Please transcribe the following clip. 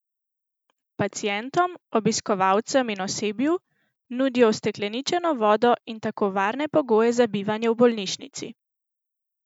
Pacientom, obiskovalcem in osebju nudijo ustekleničeno vodo in tako varne pogoje za bivanje v bolnišnici.